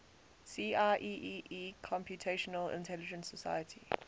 see ieee computational intelligence society